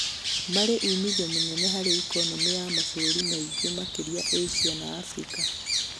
Marĩ umithio munene harĩ ikonomĩ ya mabũrũri maingĩ makeria Asia na Africa